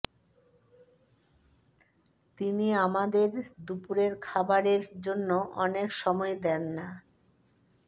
তিনি আমাদের দুপুরের খাবারের জন্য অনেক সময় দেন না